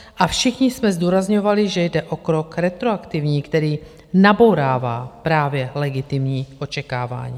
A všichni jsme zdůrazňovali, že jde o krok retroaktivní, který nabourává právě legitimní očekávání.